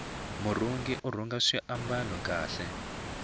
murhungi urhunga swimbalo swa kahle